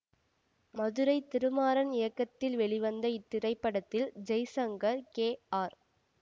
மதுரை திருமாறன் இயக்கத்தில் வெளிவந்த இத்திரைப்படத்தில் ஜெய்சங்கர் கே ஆர்